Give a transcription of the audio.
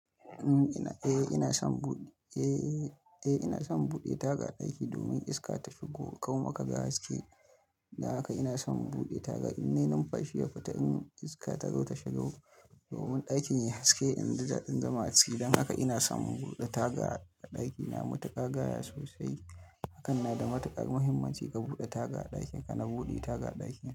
Eh ina son, eh ina son buɗe taga a ɗaki domin iska ta shigo, ƙau ma ka ga haske. Dan haka ina son in buɗe taga. Ine numfashi ya fita in iska ta zo ta shigo domin ɗakin yayi haske, in ji dadin zama a ciki. Dan haka ina son in buɗe taga a ɗakina. Matuka gaya sosai. Hakan na da matukar muhimmanci ka buɗe taga a ɗakinka. Na buɗe taga a ɗakina.